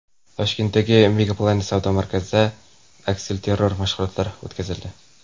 Toshkentdagi MegaPlanet savdo markazida aksilterror mashg‘ulotlari o‘tkazildi.